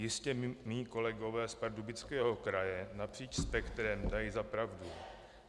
Jistě mi kolegové z Pardubického kraje napříč spektrem dají za pravdu.